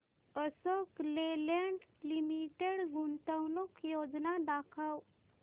Ashok Leyland limited गुंतवणूक योजना दाखव